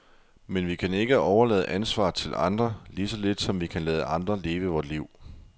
Men vi kan ikke overlade ansvaret til andre, lige så lidt som vi kan lade andre leve vort liv.